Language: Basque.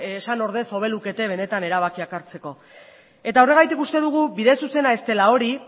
esan ordez benetan hobe lukete erabakiak hartzeko horregatik uste dugu bide zuzena ez dela hori